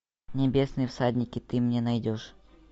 небесные всадники ты мне найдешь